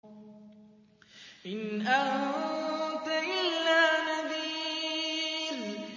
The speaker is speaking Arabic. إِنْ أَنتَ إِلَّا نَذِيرٌ